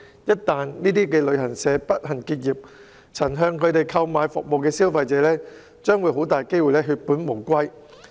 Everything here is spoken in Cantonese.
一旦該等旅行社不幸結業，曾向他們購買服務的消費者很大機會血本無歸。